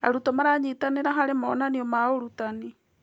Arutwo maranyitanĩra harĩ monanio ma ũrutani.